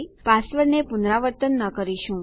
પાસવર્ડને પુનરાવર્તન ન કરીશું